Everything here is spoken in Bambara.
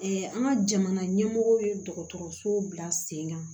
an ka jamana ɲɛmɔgɔw ye dɔgɔtɔrɔso bila sen kan